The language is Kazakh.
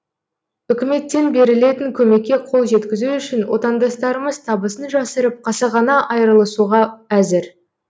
үкіметтен берілетін көмекке қол жеткізу үшін отандастарымыз табысын жасырып қасақана айырылысуға әзір